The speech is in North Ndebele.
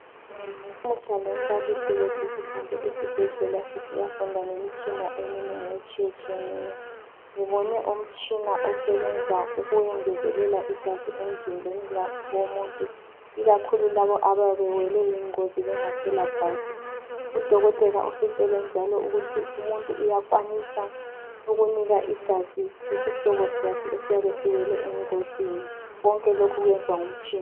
Lamuhla lombalisi wethu sihambe esibhedlela sayafunda ngemitshina etshiyeneyo ,ngibone umtshina osebenza ukwengezelela igazi emzimbeni womuntu , ikakhulu labo abayabe bengelagazi, udoketa uthe umuntu kuyenelisa ukuthola igazi lokhu kwenziwa ngomtshina.